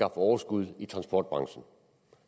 overskud i transportbranchen